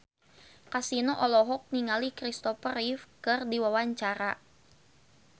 Kasino olohok ningali Christopher Reeve keur diwawancara